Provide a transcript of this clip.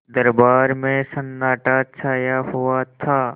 दरबार में सन्नाटा छाया हुआ था